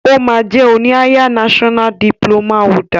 O ma jẹ oni higher national diploma holder.